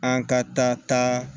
An ka taa